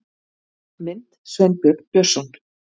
Mynd: Sveinbjörn Björnsson